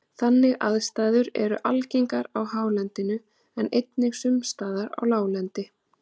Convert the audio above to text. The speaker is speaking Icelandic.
þannig aðstæður eru algengar á hálendinu en einnig sums staðar á láglendi